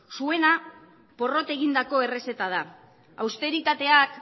zuena porrot egindako errezeta da austeritateak